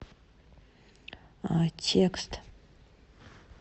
текст